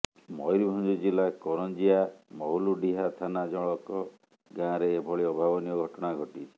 ମୟୂରଭଞ୍ଜ ଜିଲ୍ଲା କରଞ୍ଜିଆ ମହୁଲଡ଼ିହା ଥାନା ଜରକ ଗାଁରେ ଏଭଳି ଅଭାବନୀୟ ଘଟଣା ଘଟିଛି